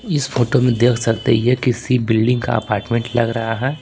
इस फोटो में देख सकते हैं यह किसी बिल्डिंग का अपार्टमेंट लग रहा है।